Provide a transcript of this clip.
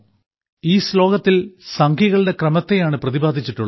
ഈ ശ്ലോകത്തിൽ സംഖ്യകളുടെ ക്രമത്തെയാണ് പ്രതിപാദിച്ചിട്ടുള്ളത്